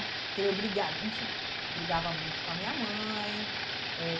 Então, eu briga, enfim, brigava muito com a minha mãe. Eh